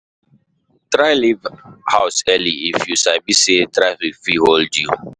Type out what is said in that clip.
Try leave house early if you sabi say traffic fit hold you.